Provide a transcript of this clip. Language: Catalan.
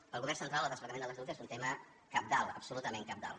pel govern central el desplegament de l’estatut és un tema cabdal absolutament cabdal